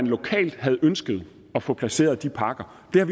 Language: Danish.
lokalt havde ønsket at få placeret de parker vi har